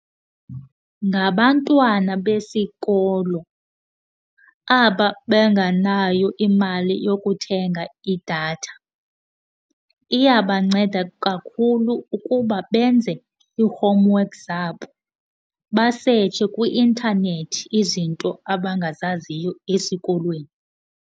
Ngabantwana besikolo aba banganayo imali yokuthenga idatha. Iyabanceda kakhulu ukuba benze ii-homeworks zabo, basetshe kwintanethi izinto abangazaziyo esikolweni.